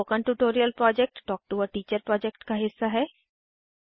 spoken tutorial project talk to a teacher project का हिस्सा है